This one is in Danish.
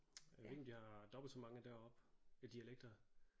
Jeg ved ikke om de har dobbelt så mange deroppe øh dialekter